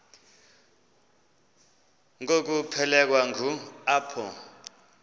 ngokuphelekwa ngu apho